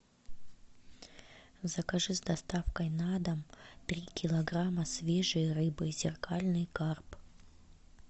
закажи с доставкой на дом три килограмма свежей рыбы зеркальный карп